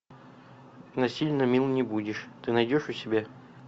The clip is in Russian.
насильно мил не будешь ты найдешь у себя